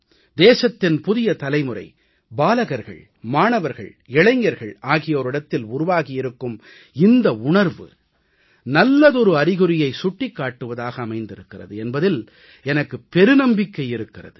தேசத்தின் புதிய தலைமுறை பாலகர்கள் மாணவர்கள் இளைஞர்கள் ஆகியோரிடத்தில் உருவாகி இருக்கும் இந்த உணர்வு நல்லதொரு அறிகுறியைச் சுட்டிக் காட்டுவதாக அமைந்திருக்கிறது என்பதில் எனக்குப் பெருநம்பிக்கை இருக்கிறது